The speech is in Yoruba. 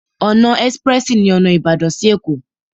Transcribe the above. Ọ̀nà ẹ́sprẹ́sì ní ọ̀nà Ìbàdàn sí Ẹ̀kó.